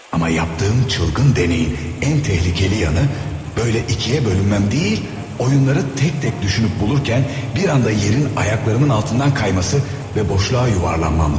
Amma yaptığım çılgın deneyin ən təhlikəli yanı böylə ikiye bölünməm deyil, oyunları tək-tək düşünüp bulurken bir anda yerin ayaklarımın altından kayması və boşluğa yuvarlanmamdı.